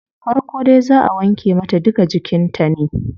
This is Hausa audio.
Farko dai zaa wanke mata duka jikin ta ne